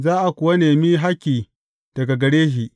Za a kuwa nemi hakki daga gare shi.